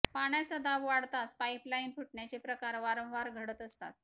पाण्याच्या दाब वाढताच पाइपलाईन फुटण्याचे प्रकार वारंवार घडत असतात